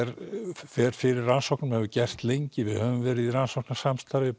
fer fyrir rannsóknum og hefur gert lengi við höfum verið í rannsóknarstarfsemi